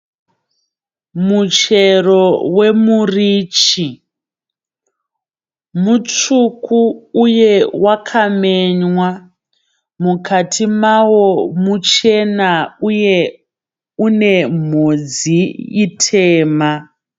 Michero wemurichi. Mutsvuku uye wakamenywa. Mukati mavo muchena uye une mhodzi itema.